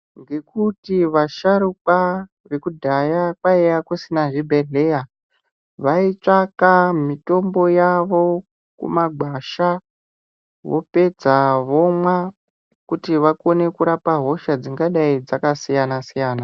Nekuti vasharuka ekudhaya kwanga kusina zvibhedhlera vatsvaka mitombo yavo kumagwasha vopedza vomwa kuti vakone kurapa hosha dzinga dai dzakasiyana .